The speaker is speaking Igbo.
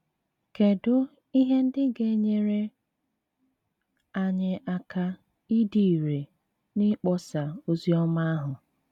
Kedụ ihe ndị ga - enyere anyị aka ịdị irè n’ịkpọsa ozi ọma ahụ?